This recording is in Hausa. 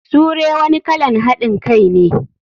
Sure wani kalan hadin Kai ne.